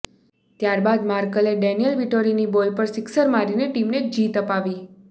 ત્યારબાદ માર્કેલે ડેનિયલ વિટોરીની બોલ પર સિક્સર મારીને ટીમને જીત અપાવી